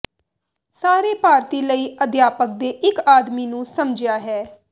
ਸਾਰੇ ਭਾਰਤੀ ਲਈ ਅਧਿਆਪਕ ਦੇ ਇੱਕ ਆਦਮੀ ਨੂੰ ਸਮਝਿਆ ਹੈ